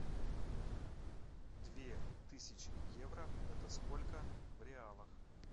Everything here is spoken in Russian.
две тысячи евро это сколько в реалах